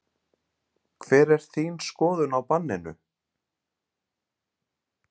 Hver er þín skoðun á banninu?